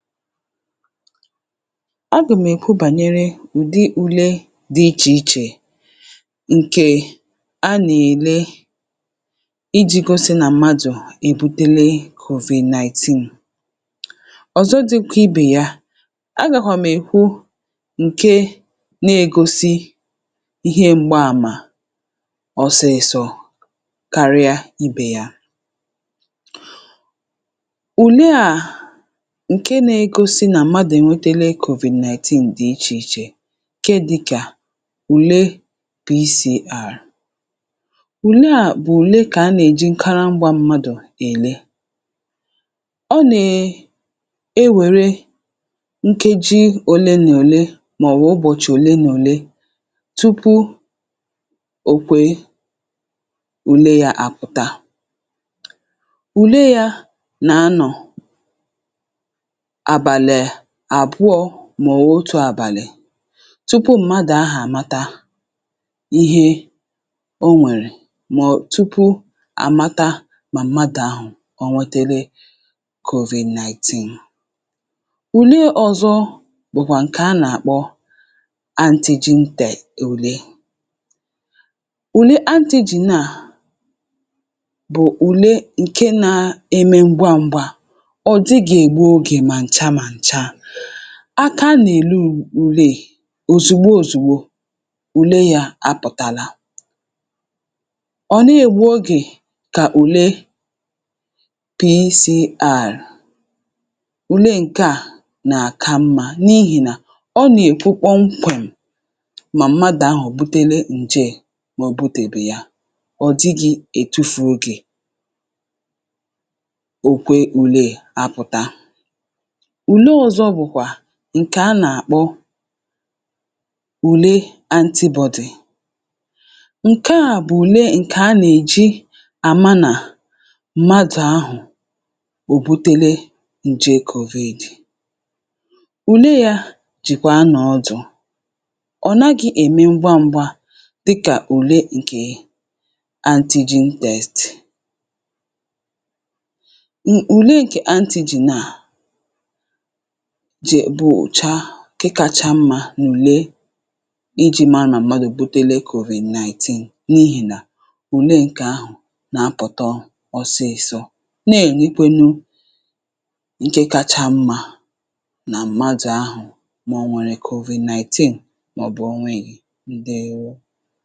Agà m èkwu bànyere ụ̀dị ule dị ichè ichè ǹkè a nèle ijī gosi nà mmadụ̀ èbutele COVID-19. Ọ̀zọ dị kìibè ya agàkwà m èkwu ǹke negosi ihe m̀gba àmà ọsịsọ̄ karịa ibè ya. Ùle à ǹke negosi nà mmadụ̀ ènwetele ǹje COVID-19 dị̀ ichè ichè ǹke dịkà ùle PCR ùle à bụ̀ ùle ǹka a nèjikarị ịgbā mmadụ̀ èle, ọ nè-enwère nkeji òlemòle mọ̀bụ̀ ụbọ̀chị̀ òlemòle tupu òkwe ùle yā àpụ̀ta, ùle yā nà-anọ̀ àbàlị àbụọ̄ mọ̀bụ̀ otū àbàlị tupu mmadụ̄ ahụ̀ àmata ihe o nwèrè mọ̀ọ̀ tupu àmata nà mmadụ̀ ahụ̀ ò nwetele COVID-19. Ùle ọzọ bụ̀kwà ǹke a nàkpọ ANTIGEN TEST ùle. Ùle ANTIGEN naà bụ̀ ùle ǹke nēme ngwa ngwa ọ̀ dịghì ègbu ogè mà ǹcha ǹcha, aka nèle ule e òzìgbo òzìgbo ùle yā apụ̀tala ọ̀ neè ègbu ogè kà ùle PCR, ùle nke à nà àka mmā n’ihìnà ọ nèkwu kpọmkwèm mà mmadụ̀ ahụ̀ èbutele nje mò butèbè ya ọ̀ dịghị̄ ètufù ogè òkwe ule apụ̀ta. Ùle ọzọ bụ̀kwà ǹkè a nàkpọ ùle ANTI-BODY, ǹke à bụ̀ ùle ǹka a nèji àma nà mmadụ̀ ahụ̀ òbutele ǹje COVID. Ùle yā jìkwà a nọ̀ ọdụ̀ ọ̀ naghī ème ngwa ngwa dịkà ùle ǹkè ANTIGEN TEST Ùle ǹkè ANTIGEN naa jè bụ̀ chàà ǹke kacha mmā n’ùle ijī ma mà mmadụ̀ èbutele COVID-19 n’ihìnà ùle ǹkà ahụ̀ nọ̀ apụ̀tọ ọsịsọ̄ ne-ènwekwenu ǹke kacha mmā nà mmadụ̀ ahụ̀ mò nwèrè COVID-19 mọ̀bụ̀ o nwēghi. Ǹdeèwo